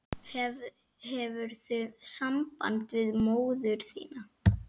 Hefurðu samband við móður þína?